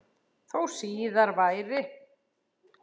Þó síðar væri.